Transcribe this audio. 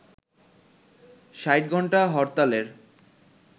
৬০-ঘণ্টা হরতালের